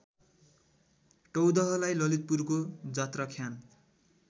टौदहलाई ललितपुरको जात्राख्यान